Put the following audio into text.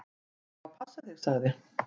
"""Ég á að passa þig, sagði"""